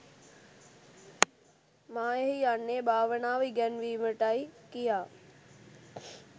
මා එහි යන්නේ භාවනාව ඉගැන්වීමට යි කියා.